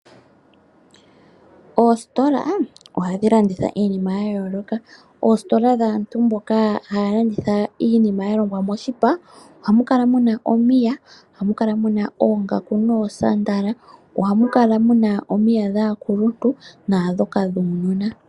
Oositola ohadhi landitha iinima ya yooloka, oositola dhaantu mboka haya landitha iinima yalongwa moshipa ohamu kala muna omiya, ohamu kala muna oongaku noosandala. Ohamu kala muna omiya dhaakuluntu naadhoka dhaanona.